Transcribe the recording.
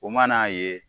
O mana ye